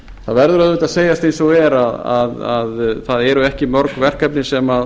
það verður auðvitað að segjast eins og er að það eru ekki mörg verkefni sem